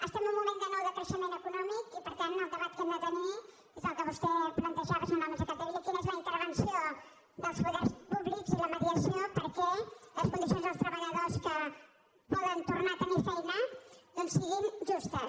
estem en un moment de nou decreixement econòmic i per tant el debat que hem de tenir és el que vostè plantejava senyora montserrat capdevila quina és la intervenció dels poders públics i la mediació perquè les condicions dels treballadors que poden tornar a tenir feina doncs siguin justes